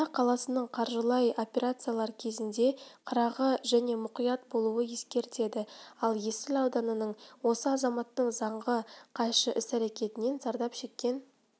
астана қаласының қаржылай операциялар кезінде қырағы және мұқият болуды ескертеді ал есіл ауданының осы азаматтың заңға қайшы іс-әрекетінен зардап шеккен